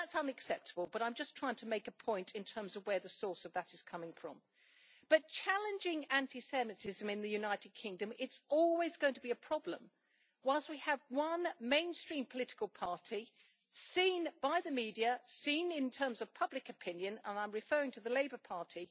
Now that is unacceptable, but I am just trying to make a point in terms of where that is coming from. Challenging anti Semitism in the United Kingdom is always going to be a problem while we have one mainstream political party seen by the media, seen in terms of public opinion and I am referring to the Labour Party